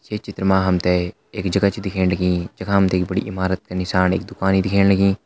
ये चित्र मा हम तैं एक जगह छ दिखेण लगीं जखा हम तैं एक बड़ी इमारत का निशान एक दुकान दिखेण लगीं--